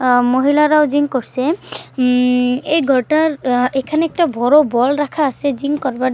উমম মহিলারাও জিম করছে উমম এই ঘরটার উম এখানে একটা বড়ো বল রাখা আছে জিম করবার--